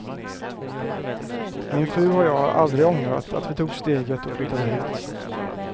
Min fru och jag har aldrig ångrat att vi tog steget och flyttade hit.